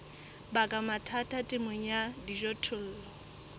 baka mathata temong ya dijothollo